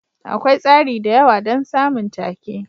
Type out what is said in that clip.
Akwai tsari da yawa don samun take.